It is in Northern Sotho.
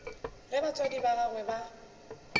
ge batswadi ba gagwe ba